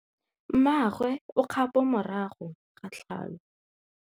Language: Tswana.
Mmagwe o kgapô morago ga tlhalô.